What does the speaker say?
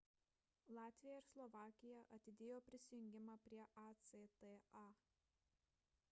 latvija ir slovakija atidėjo prisijungimą prie acta